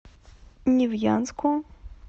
невьянску